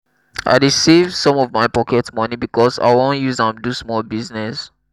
i dey save some of my pocket moni because i wan use am do small business.